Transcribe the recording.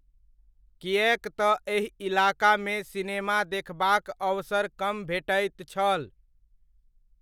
किएक तऽ एहि इलाकामे सिनेमा देखबाक अवसर कम भेटैत छल।